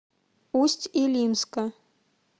усть илимска